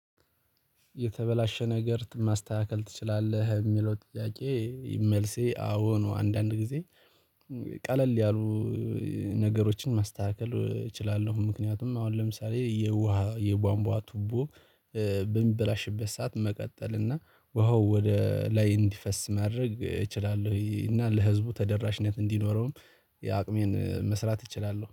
የተበላሻ ነገር ማስተካከል ትችላለህ የሚለው ጥያቄ? መልሴ አዎ ነው። አንዳንድ ጊዜ ቀለል ያሉ ነገሮችን ማስተካከል እችላለሁ። ምክንያቱም አሁን ለምሳሌ የውሃ የቧንቧ ቱቦ። በምበላሽበት ሰዓት መቀጠል እና ውሃው ወደ ላይ እንዲፈስ ማድረግ እችላለሁ። እና ለህዝቡ ተደራሽነት እንዲኖረውም የአቅሜን መስራት እችላለሁ